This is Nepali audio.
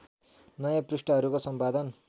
नयाँ पृष्ठहरूको सम्पादन